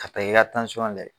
Ka taa i ka layɛ